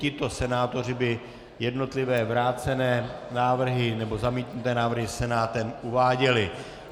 Tito senátoři by jednotlivé vrácené návrhy nebo zamítnuté návrhy senátem uváděli.